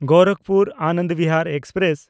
ᱜᱳᱨᱟᱠᱯᱩᱨ–ᱟᱱᱚᱱᱰ Bihar express